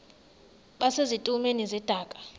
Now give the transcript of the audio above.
base zitulmeni zedaka